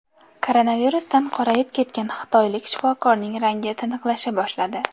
Koronavirusdan qorayib ketgan xitoylik shifokorning rangi tiniqlasha boshladi.